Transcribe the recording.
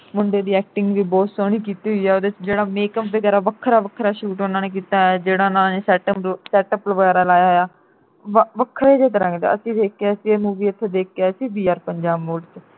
ਮੁੰਡੇ ਦੀ acting ਵੀ ਬਹੁਤ ਸੋਹਣੀ ਕੀਤੀ ਹੋਈ ਐ ਉਹਦੇ ਵਿਚ ਜਿਹੜਾ makeup ਵਗੈਰਾ ਵੱਖਰਾ ਵੱਖਰਾ shoot ਉਨ੍ਹਾਂ ਨੇ ਕੀਤਾ ਹੋਇਆ ਐ ਜਿਹੜਾ ਉਨ੍ਹਾਂ ਨੇ setup ਵਗੈਰਾ ਲਾਇਆ ਹੋਇਆ ਵੱਖਰਾ ਜਾ ਤਰ੍ਹਾਂ ਦਾ ਅਸੀਂ ਦੇਖ ਕੇ ਆਏ ਸੀ movie ਉਥੋ ਦੇਖ ਕੇ ਆਏ ਸੀ vr ਪੰਜਾਬ ਮੋੜ ਤੇ